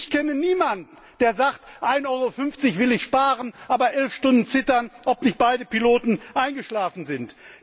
Ich kenne niemanden, der sagt 1,50 EUR will ich sparen, aber elf Stunden zittern, ob nicht beide Piloten eingeschlafen sind!